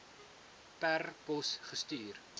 per pos gestuur